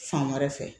Fan wɛrɛ fɛ